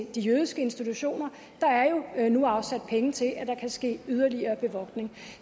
de jødiske institutioner der er jo nu afsat penge til at der kan ske yderligere bevogtning